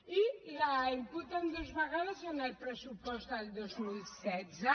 i la imputen dues vegades en el pressupost del dos mil setze